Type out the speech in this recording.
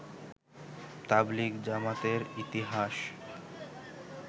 তাবলিগ জামাতের ইতিহাস